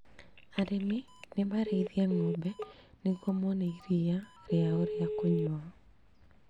Arĩmi ni marĩithie ng'ombe nĩguo mone iria rĩao rĩa kũnyua